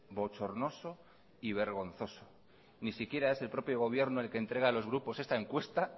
bochornoso y vergonzoso ni siquiera es el propio gobierno el que entrega a los grupos esta encuesta